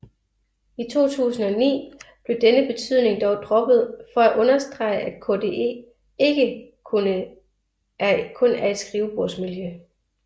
I 2009 blev denne betydning dog droppet for at understrege at KDE ikke kun er et skrivebordsmiljø